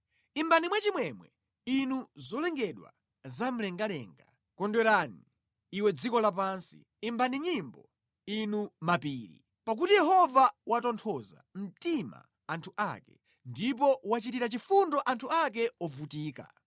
Imbani mwachimwemwe, inu zolengedwa zamlengalenga; kondwera, iwe dziko lapansi; imbani nyimbo inu mapiri! Pakuti Yehova watonthoza mtima anthu ake, ndipo wachitira chifundo anthu ake ovutika.